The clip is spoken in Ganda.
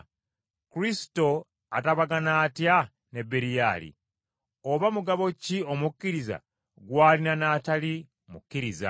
Kristo atabagana atya ne Beriyali? Oba mugabo ki omukkiriza gw’alina n’atali mukkiriza?